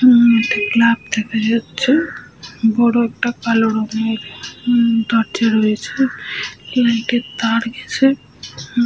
উম একটা ক্লাব দেখা যাচ্ছে। বড় একটা কালো রঙের উম দরজা রয়েছে লাইট এর তার গেছে--